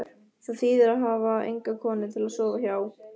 Það þýðir að hafa enga konu til að sofa hjá.